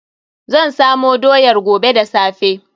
Zan samo doyar gobe da safe.